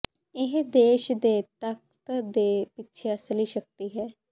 ਇਹ ਦੇਸ਼ ਦੇ ਤਖਤ ਦੇ ਪਿੱਛੇ ਅਸਲੀ ਸ਼ਕਤੀ ਹੈ